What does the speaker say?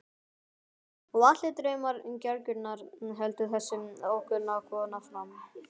Og allir draumar gelgjunnar, heldur þessi ókunna kona áfram.